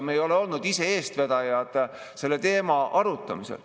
Me ei ole olnud eestvedajad selle teema arutamisel.